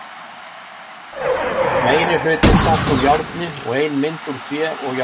Meiri hlutinn samt úr járni og ein mynd úr tré og járni.